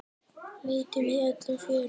Leitum í öllum fjörum.